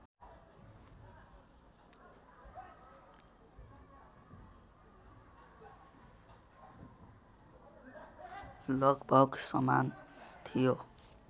लगभग समान थियो